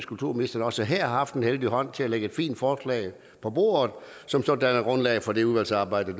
kulturministeren også her har haft en heldig hånd til at lægge et fint forslag på bordet som så danner grundlag for det udvalgsarbejde